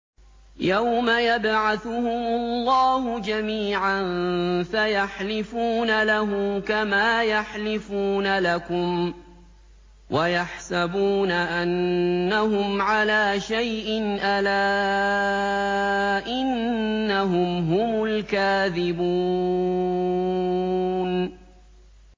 يَوْمَ يَبْعَثُهُمُ اللَّهُ جَمِيعًا فَيَحْلِفُونَ لَهُ كَمَا يَحْلِفُونَ لَكُمْ ۖ وَيَحْسَبُونَ أَنَّهُمْ عَلَىٰ شَيْءٍ ۚ أَلَا إِنَّهُمْ هُمُ الْكَاذِبُونَ